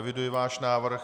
Eviduji váš návrh.